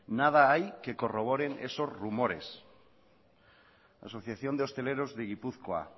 nada hay que corroboren esos rumores la asociación de hosteleros de gipuzkoa